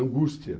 Angústia.